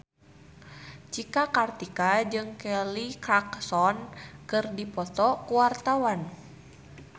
Cika Kartika jeung Kelly Clarkson keur dipoto ku wartawan